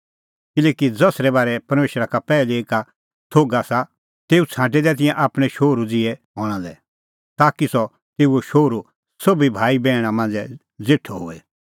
किल्हैकि ज़सरै बारै परमेशरा का पैहलै ई का थोघ आसा तेऊ छ़ांटै तिंयां आपणैं शोहरू ज़िहै हणां लै ताकि सह तेऊओ शोहरू सोभी भाई बैहणी मांझ़ै ज़ेठअ होए